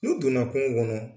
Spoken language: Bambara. N'u donna kungo kɔnɔ